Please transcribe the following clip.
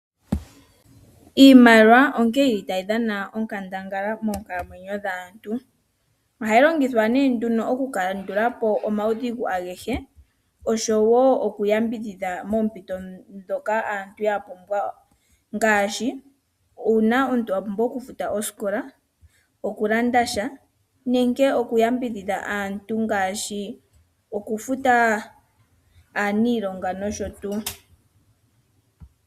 Iimaliwa otayi dhana onkandangala moonkalamwenyo dhaantu. Ohayi longithwa okukandula po omaudhigu agehe oshowo okuyambidhidha moompito ndhoka aantu ya pumbwa ngaashi uuna omuntu a pumbwa okufuta osikola, okulanda sha nenge okuyambidhidha aantu ngaashi okufuta aaniilonga nosho tuu.